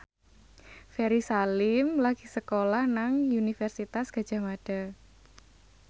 Ferry Salim lagi sekolah nang Universitas Gadjah Mada